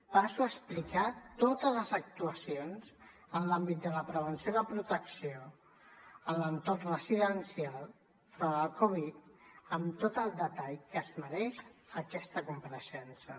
passo a explicar totes les actuacions en l’àmbit de la prevenció i la protecció a l’entorn residencial front al covid amb tot el detall que es mereix aquesta compareixença